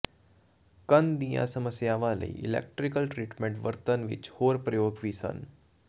ਕੰਨ ਦੀਆਂ ਸਮੱਸਿਆਵਾਂ ਲਈ ਇਲੈਕਟ੍ਰੀਕਲ ਟਰੀਟਮੈਂਟ ਵਰਤਣ ਵਿਚ ਹੋਰ ਪ੍ਰਯੋਗ ਵੀ ਸਨ